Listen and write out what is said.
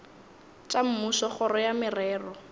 tša mmušo kgoro ya merero